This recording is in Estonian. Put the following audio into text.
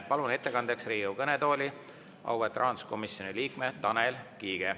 Palun ettekandjaks Riigikogu kõnetooli auväärt rahanduskomisjoni liikme Tanel Kiige.